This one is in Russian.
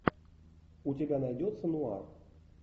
у тебя найдется нуар